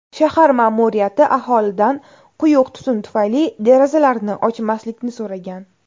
Shahar ma’muriyati aholidan quyuq tutun tufayli derazalarini ochmaslikni so‘ragan.